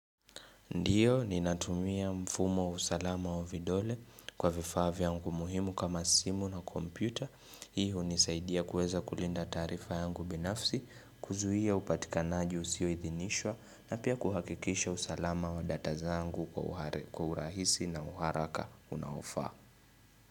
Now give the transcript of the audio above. Ndiyo, ninatumia mfumo wa usalama wa vidole kwa vifaa vyangu muhimu kama simu na kompyuta. Hii hunisaidia kuweza kulinda taarifa yangu binafsi, kuzuia upatikanaji usioidhinishwa na pia kuhakikisha usalama wa data zangu kwa urahisi na uharaka unaofa.